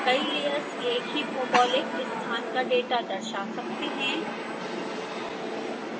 कई लेयर्स एक ही भौगोलिक स्थान का डेटा दर्शा सकते हैं